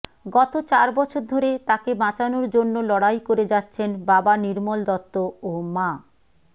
গত চার বছর ধরে তাকে বাঁচানোর জন্য লড়াই করে যাচ্ছেন বাবা নির্মল দত্ত ও মা